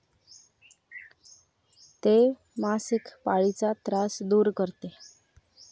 ते मासिक पाळीचा त्रास दूर करते.